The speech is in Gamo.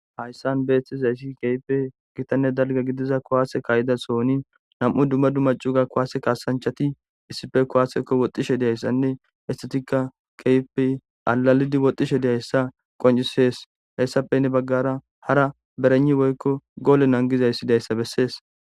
Hayssan beetizayssi keehippe gitanne dalga gidiza kuwasse ka'ida sohoni nam'u dumma dumma cuga kuwasse kaasaanchati issippe kuwasse ekki woxxishe diyaysanne hessatika keehippe allalidi woxxishe de'iyayssa qoncises; hayssappe heni bagaara hara bereynni woykko goole nangizayssi diyayssa besses.